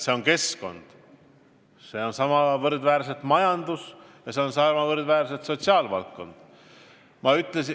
Peale keskkonna on sama võrdväärsed vundamendipostid ka majandus ja sotsiaalvaldkond.